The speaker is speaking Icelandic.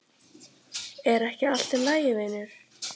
Er ekki allt í lagi vinur?